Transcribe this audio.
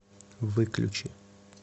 выключи